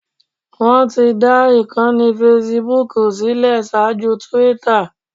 Wọ́n ti dá ìkànnì facebook sílẹ̀ ṣaájú Twitter